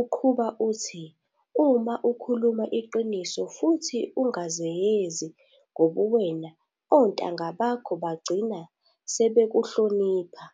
uqhuba uthi- uma ukhuluma iqiniso futhi ungazenyezi ngobuwena ontanga bakho bagcina sebekuhlonipha.